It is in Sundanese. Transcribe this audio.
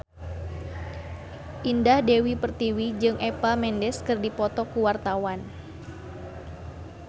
Indah Dewi Pertiwi jeung Eva Mendes keur dipoto ku wartawan